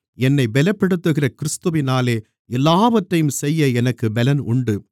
என்னைப் பெலப்படுத்துகிற கிறிஸ்துவினாலே எல்லாவற்றையும் செய்ய எனக்குப் பெலன் உண்டு